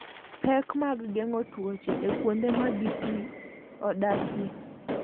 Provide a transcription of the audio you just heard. Pek mag geng'o tuoche e kuonde ma gi odakie.